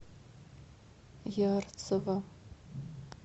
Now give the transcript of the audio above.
ярцево